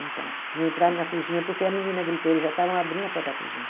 Então, não entraram na cozinha porque a menina gritou, eles já estavam abrindo a porta da cozinha.